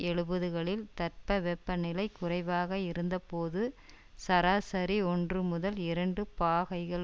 எழுபதுகளில் தட்பவெட்ப நிலை குறைவாக இருந்தபோது சராசரி ஒன்று முதல் இரண்டு பாகைகள்